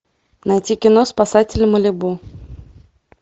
найти кино спасатели малибу